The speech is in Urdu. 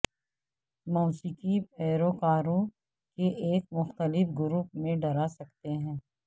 موسیقی پیروکاروں کے ایک مختلف گروپ میں ڈرا سکتے ہیں